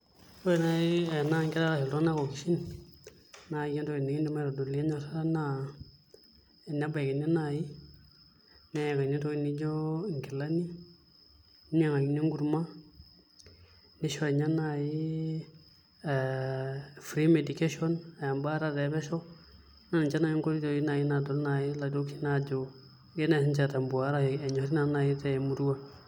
Ore naai enaa nkera ashu iltung'anak okishin naai entoki nikiidim aitodolie enyorata naa enebaikini naai neyakini entoki nijio nkilani ninyiang'uni enkurma nishori inye naai aa free medication aa embaata epesho naa nche naai nkoitoi naai nadol aajo kegirai naai siinche aitambua arashu enyorri siinche temurua.